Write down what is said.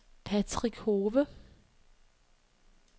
Patrick Hove